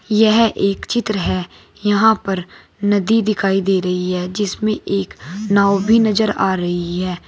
यह एक चित्र है यहां पर नदी दिखाई दे रही है जिसमें एक नाव भी नजर आ रही है।